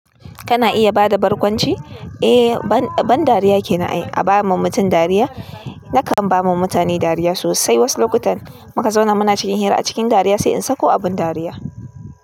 Kana iya bada barkwanci? Eh, ban dariya kenan ai. A ba ma mutum dariya? Nakan ba ma mutane dariya sosai. Wasu lokutan muka zauna muna cikin hira a cikin dariya sai in sako abin dariya.